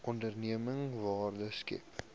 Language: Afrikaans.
onderneming waarde skep